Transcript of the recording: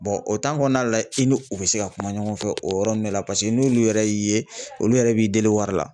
o kɔnɔna la i n'u u bɛ se ka kuma ɲɔgɔn fɛ o yɔrɔ ninnu bɛɛ la paseke n'olu yɛrɛ y'i ye olu yɛrɛ b'i deli wari la .